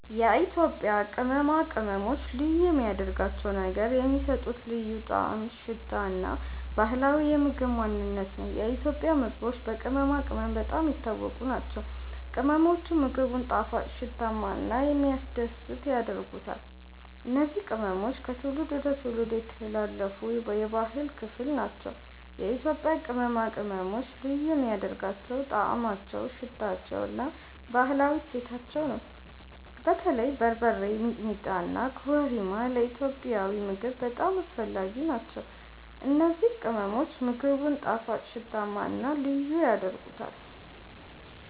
የኢትዮጵያ ቅመማ ቅመሞች ልዩ የሚያደርጋቸው ነገር የሚሰጡት ልዩ ጣዕም፣ ሽታ እና ባህላዊ የምግብ ማንነት ነው። የኢትዮጵያ ምግቦች በቅመማ ቅመም በጣም የታወቁ ናቸው፤ ቅመሞቹም ምግቡን ጣፋጭ፣ ሽታማ እና የሚያስደስት ያደርጉታል። እነዚህ ቅመሞች ከትውልድ ወደ ትውልድ የተላለፉ የባህል ክፍል ናቸው። የኢትዮጵያ ቅመማ ቅመሞች ልዩ የሚያደርጋቸው ጣዕማቸው፣ ሽታቸው እና ባህላዊ እሴታቸው ነው። በተለይ በርበሬ፣ ሚጥሚጣ እና ኮረሪማ ለኢትዮጵያዊ ምግብ በጣም አስፈላጊ ናቸው። እነዚህ ቅመሞች ምግቡን ጣፋጭ፣ ሽታማ እና ልዩ ያደርጉታል።